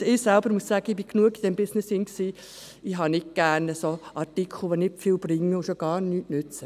Ich selber muss sagen, ich war lange genug in diesem Business, ich habe nicht gerne solche Artikel, die nicht viel bringen und schon gar nichts nützen.